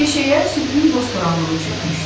Meşəyə sübhün boz toranlığı çökmüşdü.